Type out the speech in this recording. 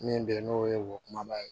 Min bɛ yen n'o ye wo kumaba ye